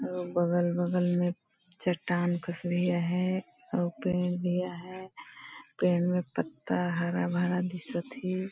बगल बगल में चट्टान कुछ दिया है और पेड़ दिया है पेड़ में पत्ता हरा भरा दिसत थी --